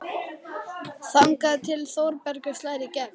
Þangað til Þórbergur slær í gegn.